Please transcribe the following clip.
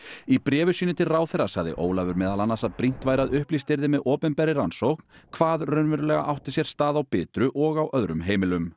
í bréfi sínu til ráðherra sagði Ólafur meðal annars að brýnt væri að upplýst yrði með opinberri rannsókn hvað raunverulega átti sér stað á Bitru og á öðrum heimilum